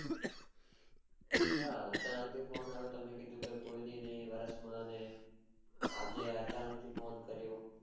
હા અચાનક થી phone આવ્યો કે વરસ મા ને આજે અચાનક કર્યો